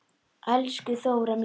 Elsku Þóra mín.